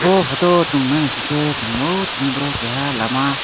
o photo o chowng nai naisike chowng nogo tini boro keha lama.